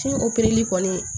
kɔni